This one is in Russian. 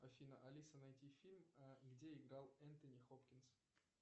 афина алиса найти фильм где играл энтони хопкинс